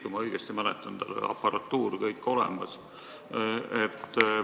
Kui ma õigesti mäletan, siis tal oli aparatuur kõik olemas.